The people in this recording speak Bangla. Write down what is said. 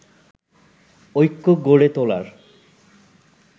ঐক্য গড়ে তোলার